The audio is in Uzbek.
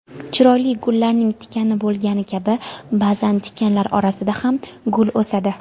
Chiroyli gullarning tikani bo‘lgani kabi ba’zan tikanlar orasida ham gul o‘sadi.